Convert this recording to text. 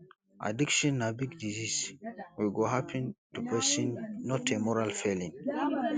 addiction na big disease we go happen to pesin not a moral failing